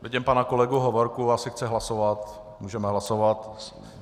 Vidím pana kolegu Hovorku, jestli chce hlasovat, můžeme hlasovat.